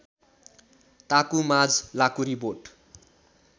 ताकु माझ लाँकुरिबोट